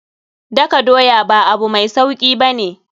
Daka doya ba abu mai sauki ba ne.